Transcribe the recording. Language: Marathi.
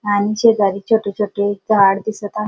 आणि शेजारी छोटे छोटे झाड दिसत आहे.